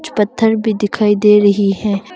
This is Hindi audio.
पत्थर भी दिखाई दे रही है।